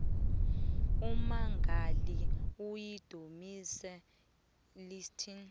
ummangali uyidominis litis